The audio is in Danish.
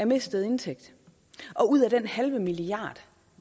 mistet indtægt og ud af den halve milliard